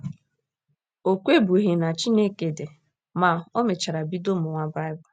O kwebughị na Chineke dị, ma, o mechara bido mụwa Baịbụl.